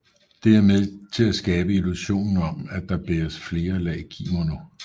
Det er med til at skabe illusionen om at der bæres flere lag kimono